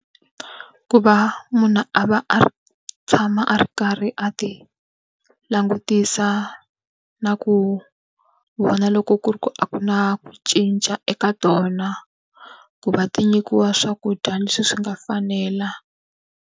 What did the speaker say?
Ku va munhu a va a tshama a ri karhi a ti langutisa na ku vona loko ku ri ku a ku na ku cinca eka tona, ku va ti nyikiwa swakudya leswi swi nga fanela.